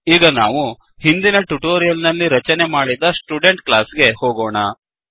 ಈಗ ನಾವು ಹಿಂದಿನ ಟ್ಯುಟೋರಿಯಲ್ ನಲ್ಲಿ ರಚನೆ ಮಾಡಿದ ಸ್ಟುಡೆಂಟ್ ಕ್ಲಾಸ್ ಗೆ ಹೋಗೋಣ